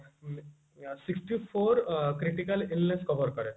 sixty-four critical illness cover କରେ